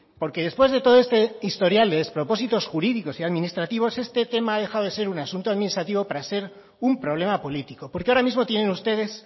porque después de todo este historial de despropósitos jurídicos y administrativos este tema ha dejado de ser un asunto administrativo para ser un problema político porque ahora mismo tienen ustedes